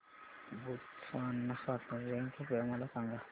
Botswana स्वातंत्र्य दिन कृपया मला सांगा